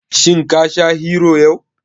Shin ka sha Hero yau?